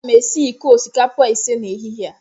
Aga m esi iko osikapa ise n'ehihie a